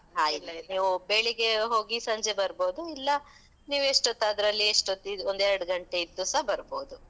ನೀವು ಬೆಳಿಗ್ಗೆ ಹೋಗಿ, ಸಂಜೆ ಬರ್ಬೋದು. ಇಲ್ಲ ನೀವೆಷ್ಟೊತ್ತದ್ರಲ್ಲಿ ಎಷ್ಟೋತ್ತ್, ಇದು ಒಂದೆರಡು ಘಂಟೆ ಇದ್ದುಸ ಬರ್ಬೋದು.